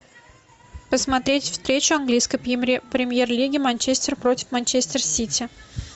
посмотреть встречу английской премьер лиги манчестер против манчестер сити